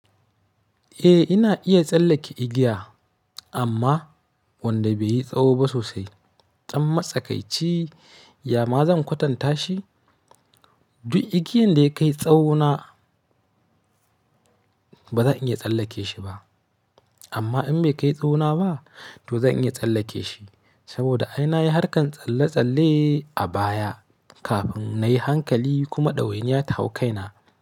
Eh, ina iya tsallake igiya amma wanda bai yi tsawo ba sosai. Ɗam matsakaici, ya ma zan kwatanta shi? Duk igiyan da ya kai tsawo na ba zan iya tsallake shi ba. Amma in bai kai tsawo na ba, to zan iya tsallake shi saboda ai na yi harkan tsalle-tsalle a baya kafin na yi hankali kuma ɗawainiya ta hau kaina.